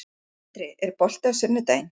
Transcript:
André, er bolti á sunnudaginn?